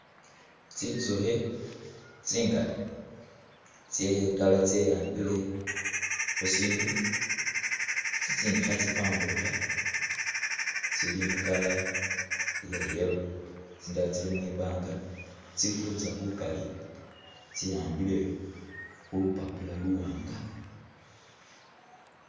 Tsintsukhi tsingali tseyagala tse ambile khusindu tsitsindi khetsipambulukha tsili mu color iya yellow tsindala tsili mwibanga tsifurisa bukali tsehambile khulupapula luwanga.